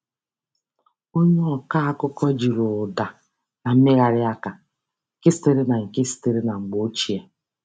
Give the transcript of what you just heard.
Onye ọkọ akụkọ jiri ụda na mmegharị aka nke sitere nke sitere na mgbe ochie.